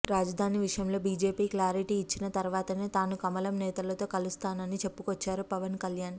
రాజధాని విషయంలో BJP clarity ఇచ్చిన తర్వాతనే తాను కమలం నేతలతో కలిసానని చెప్పుకొచ్చారు పవన్ కల్యాణ్